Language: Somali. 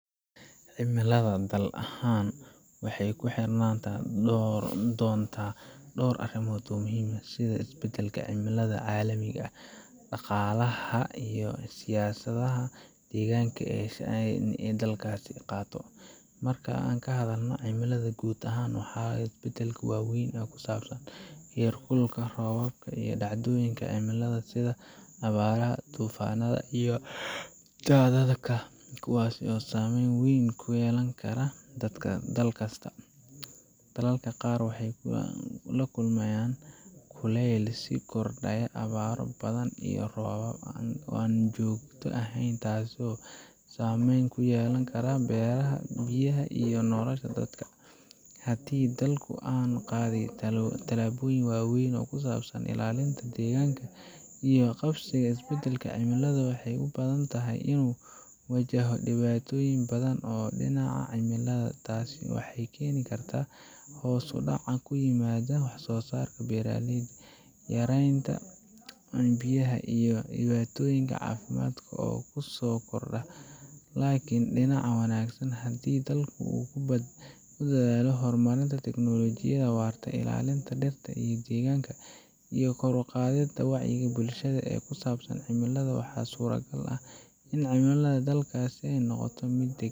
Cimilada dal ahaan waxay ku xirnaan doontaa dhowr arrimood oo muhiim ah, sida isbeddelka cimilada caalamiga ah, dhaqaalaha, iyo siyaasadaha deegaanka ee dalkaasi uu qaato. Marka aan ka hadalno cimilada guud ahaan, ee isbeddelka weyn ee ku saabsan heer kulka, roobabka, iyo dhacdooyinka cimilada sida abaaraha, duufaannada, iyo daadadka — kuwasi oo saameyn weyn yeelan kara dadka dalka kasta. Dalalka qaar waxay la kulmayaan kuleyl sii kordhaya, abaaro badan, iyo roob aan joogto ahayn, kuwaas oo saameyn ku yeelan kara beeraha, biyaha, iyo nolosha dadka. Haddii dalka uusan qaadin tallaabooyin waaweyn oo ku saabsan ilaalinta deegaanka iyo la tacaalida isbeddelka cimilada, waxay u badan tahay inuu wajahayo dhibaatooyin badan oo dhinaca cimilada ah. Taasi waxay keeni kartaa hoos u dhac ku yimaada wax soo saarka, beeraleyda, yaraanta biyaha, iyo dhibaatooyin caafimaad oo kusoo kordha. Laakiin dhinaca wanaagsan ee dalka ku dadaalo horumarinta teknoolajiyada, waardiyeynta deegaanka, iyo kor u qaadista wacyi-gelinta bulshada ee ku saabsan cimilada — waxa suuragal ah in cimilada dalkaasi ay mid deggan noqoto.